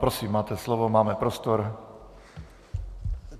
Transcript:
Prosím máte slovo, máme prostor.